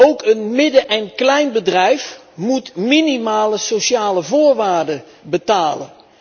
Ook een midden en kleinbedrijf moet minimale sociale voorwaarden betalen.